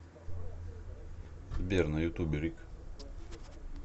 сбер на ютубе рик